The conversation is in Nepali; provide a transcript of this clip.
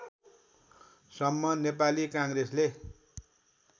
सम्म नेपाली काङ्ग्रेसले